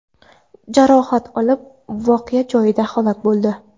jarohat olib, voqea joyida halok bo‘ldi.